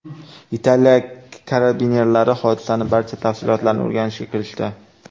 Italiya karabinerlari hodisaning barcha tafsilotlarini o‘rganishga kirishdi.